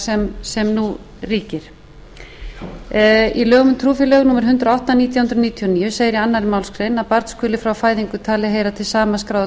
fyrirkomulag sem nú ríkir í lögum um trúfélög númer hundrað og átta nítján hundruð níutíu og níu segir í annarri málsgrein að barn skuli frá fæðingu talið heyra til sama skráða